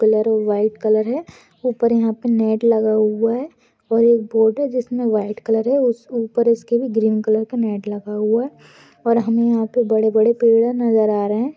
Colour white colour है ऊपर यहाँ पे नेट लगा हुआ है और एक बोट है जिसमे व्हाइट कलर है उस-ऊपर इसके भी ग्रीन कलर का नेट लगा हुआ है और यहाँ पे हमे बड़े-बड़े पेड़ नजर आ रहे है।